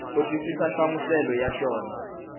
u twisisa nhlamuselo ya xona